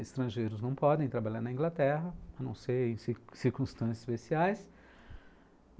Estrangeiros não podem trabalhar na Inglaterra, a não ser em circunstâncias especiais.